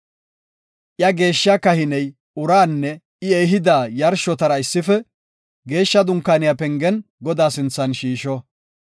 Iya geeshshiya kahiney uraanne I ehida yarshotara issife Geeshsha Dunkaaniya pengen Godaa sinthan shiisho.